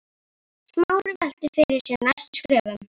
Smári velti fyrir sér næstu skrefum.